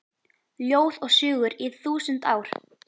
Ljóð og sögur í þúsund ár